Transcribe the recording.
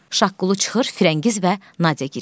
Şaqqulu çıxır, Firəngiz və Nadyə girir.